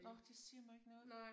Nåh det siger mig ikke noget